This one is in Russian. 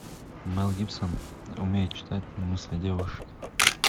мэл гибсон умеет читать мысли девушек